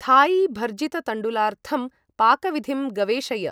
Thai भर्जिततण्डुलार्थं पाकविधिं गवेषय